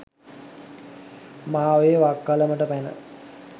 මාඔයේ වක්කලමට පැන